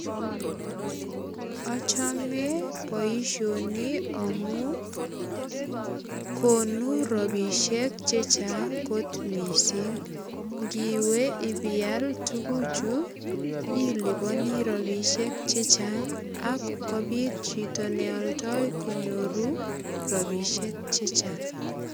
Achome boisioni amu konu rapisiek che chang kot mising. Ngiwe ipiyal tuguchu ilipani rapisiek che chang ak kopit chito neoldoi konyoru ropisiek che chang.